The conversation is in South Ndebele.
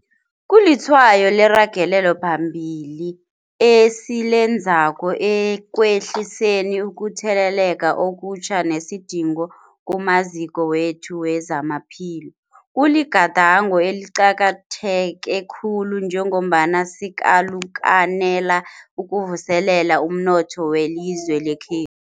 Kulitshwayo leragelo phambili esilenzako ekwehliseni ukutheleleka okutjha nesidingo kumaziko wethu wezamaphilo. Kuligadango eliqakatheke khulu njengombana sikalukanela ukuvuselela umnotho welizwe lekhethu.